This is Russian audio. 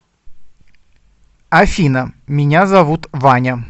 афина меня зовут ваня